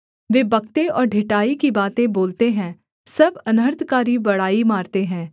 वे बकते और ढिठाई की बातें बोलते हैं सब अनर्थकारी बड़ाई मारते हैं